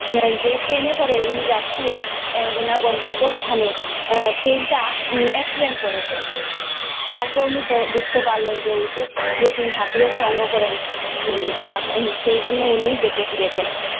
যে ট্রেনে করে উনি যাচ্ছিলেন এর ওনার গন্তব্য স্থানে, এর ট্রেনটা accident করেছে, তারপর উনি বুঝতে পারলেন ওই যে উনি ঠাকুরের সঙ্গ করেন, সেই জন্যে উনি বেঁচে ফিরেছে।